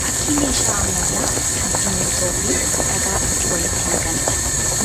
Fakkii meeshaa ammayyaa kan simmintoo fi dhagaa ittin walitti makaniidha.